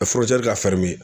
ka